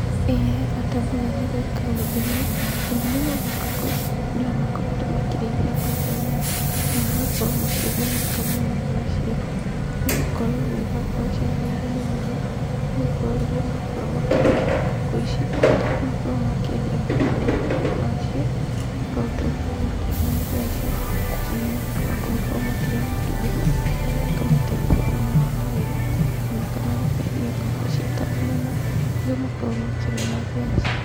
Ĩĩ hebata mũnene gwĩka ũndũ ũyũ. Ũrĩmi ũyũ wa ngũkũ, andũ nĩ makoretwo makĩrĩithia ngũkũ mũno na magakorwo makĩgunĩka mũno nacio nĩgũkorwo nĩ irakorwo irĩ na ũguni mũno nĩ gũkorwo makĩrĩithia ngũkũ ici, nĩ makoragwo makĩendia matumbĩ macio makahota gũkorwo makĩona mbeca ona makahota gũkorwo makĩrĩa matumbĩ mau makamateithia thĩiniĩ wa mwĩrĩ ona makendia ngũkũ ciĩ ta nyama kũrĩa makoragwo makĩona mbeca.